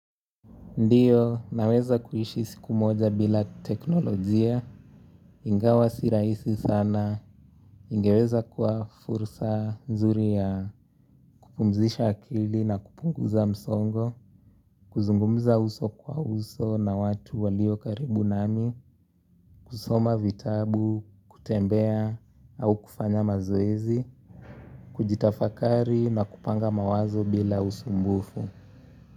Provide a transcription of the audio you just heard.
Ndiyo, naweza kuishi siku moja bila teknolojia, ingawa si rahisi sana, ingeweza kuwa fursa nzuri ya kupumzisha akili na kupunguza msongo, kuzungumza uso kwa uso na watu walio karibu nami, kusoma vitabu, kutembea, au kufanya mazoezi, kujitafakari na kupanga mawazo bila usumbufu.